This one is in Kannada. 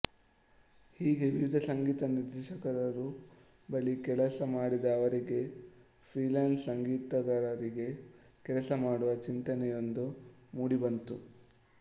ಹೀಗೆ ವಿವಿಧ ಸಂಗೀತ ನಿರ್ದೇಶಕರುಗಳ ಬಳಿ ಕೆಲಸ ಮಾಡಿದ ಅವರಿಗೆ ಫ್ರೀಲಾನ್ಸ್ ಸಂಗೀತಗಾರರಾಗಿ ಕೆಲಸ ಮಾಡುವ ಚಿಂತನೆಯೊಂದು ಮೂಡಿಬಂತು